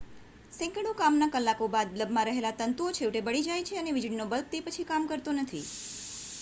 સેંકડો કામના કલાકો બાદ બલ્બમાં રહેલા તંતુઓ છેવટે બળી જાય છે અને વીજળીનો બલ્બ તે પછી કામ કરતો નથી